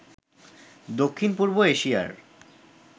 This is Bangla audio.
দক্ষিণ পূর্ব এশিয়ার